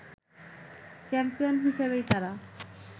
champion হিসেবেই তারা